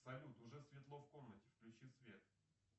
салют уже светло в комнате включи свет